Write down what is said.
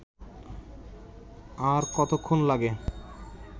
আর কতক্ষণ লাগে